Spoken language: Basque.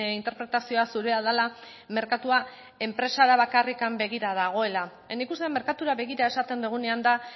interpretazioa zurea dela merkatua enpresara bakarrik begira dagoela nik uste dut merkatura begira esaten dugunean da